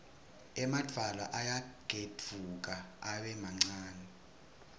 emadvwala ayagedvuka abe mancane